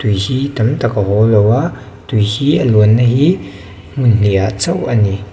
tui hi tam tak a haw lo a tui hi a lian na hi hmun hnih ah chauh a ni.